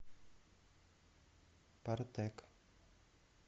партек